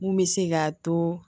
Mun bɛ se k'a to